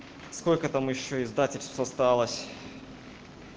сколько там ещё издательство осталось